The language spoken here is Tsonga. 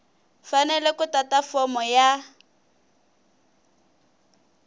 fanele ku tata fomo ya